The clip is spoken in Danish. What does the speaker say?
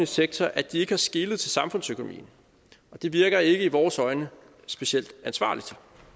sektor at de ikke har skelet til samfundsøkonomien og det virker ikke i vores øjne specielt ansvarligt